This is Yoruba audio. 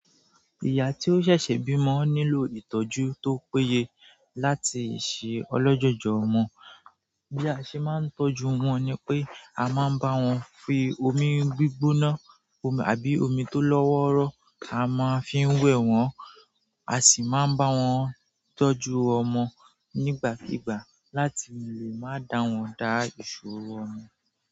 Ìyá tó ṣẹ̀ṣẹ̀ bímọ nílò ìtọ́jú tó péye láti ṣe ọlọ́jọ̀jọ̀ ọmọ. Bí a ṣe máa ń tọ́jú wọn ni pé a máa ń bá wọn fi omi gbígbóná àbí omi tó lọ́wọ́rọ́. A máa ń fií wẹ̀ wọ́n, a sì máa ń bá wọn tọ́jú ọmọ nígbàkígbà láti lè má dá wọn dá ìṣòro ọmọ.